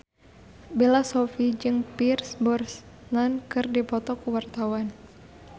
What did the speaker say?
Bella Shofie jeung Pierce Brosnan keur dipoto ku wartawan